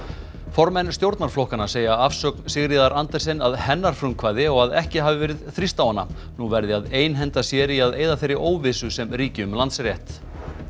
formenn stjórnarflokkanna segja afsögn Sigríðar Andersen að hennar frumkvæði og að ekki hafi verið þrýst á hana nú verði að einhenda sér í að eyða þeirri óvissu sem ríki um Landsrétt